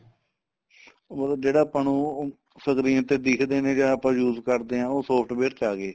ਮਤਲਬ ਜਿਹੜਾ ਆਪਾਂ ਨੂੰ screen ਤੇ ਦਿਖਦੇ ਨੇ ਜਾਂ ਆਪਾਂ use ਕਰਦੇ ਆ ਉਹ software ਚ ਆ ਗਏ